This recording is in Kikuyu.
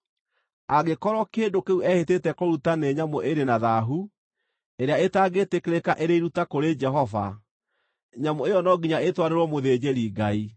Angĩkorwo kĩndũ kĩu ehĩtĩte kũruta nĩ nyamũ ĩrĩ na thaahu, ĩrĩa ĩtangĩĩtĩkĩrĩka ĩrĩ iruta kũrĩ Jehova, nyamũ ĩyo no nginya ĩtwarĩrwo mũthĩnjĩri-Ngai,